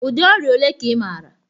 Ụdị ọrịa ole ka ị maara?